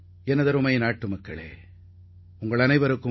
எனதருமை நாட்டு மக்களே வணக்கம்